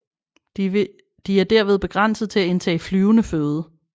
De er derved begrænset til at indtage flydende føde